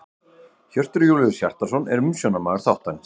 Hjörtur Júlíus Hjartarson er umsjónarmaður þáttarins.